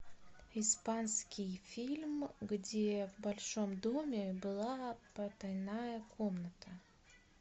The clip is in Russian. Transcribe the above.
испанский фильм где в большом доме была потайная комната